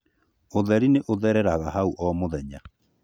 ũtheri nĩ ũthereraga haũ o mũthenya